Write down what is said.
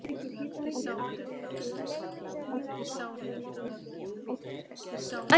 Arisa, hvaða dagur er í dag?